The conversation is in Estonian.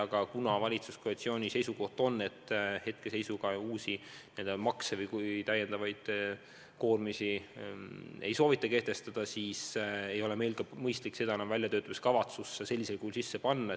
Aga kuna valitsuskoalitsiooni seisukoht on, et hetke seisuga uusi makse, täiendavaid koormisi ei soovita kehtestada, siis ei ole meil mõistlik seda väljatöötamiskavatsusse sellisel kujul sisse panna.